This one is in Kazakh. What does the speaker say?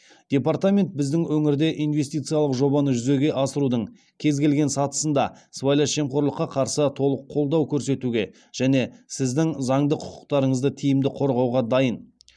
департамент біздің өңірде инвестициялық жобаны жүзеге асырудың кез келген сатысында сыбайлас жемқорлыққа қарсы толық қолдау көрсетуге және сіздің заңды құқықтарыңызды тиімді қорғауға дайын